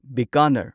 Bikaner